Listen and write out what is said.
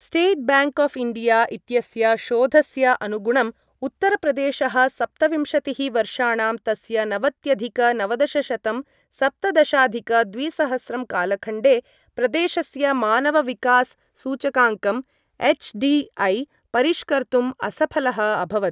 State bank of India इत्यस्य शोधस्य अनुगुणम्, उत्तरप्रदेशः सप्तविंशतिः वर्षाणां तस्य नवत्यधिक नवदशशतं सप्तदशाधिक द्विसहस्रं कालखण्डे, प्रदेशस्य मानव विकास सूचकाङ्कं एछ्.डी.ऐ. परिष्कर्तुं असफलः अभवत्।